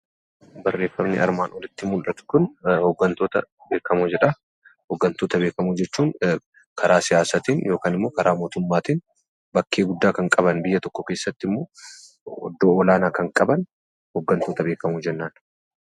Hooggantoota beekamoo jechuun karaa siyaasaatiin yookaan karaa dinagdeetiin bakkee guddaa kan qaban iddoo olaanaa kan qaban hooggantoota olaanoo jennaan.